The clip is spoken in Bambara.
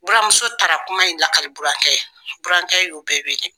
Buramuso taara kuma in lakale burankɛ ye, burankɛ y'u bɛɛ wele.